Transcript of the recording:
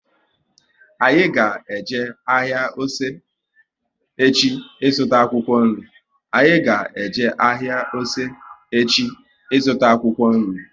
Anyị ga eje ahịa Ose echi ị zụta akwụkwọ nri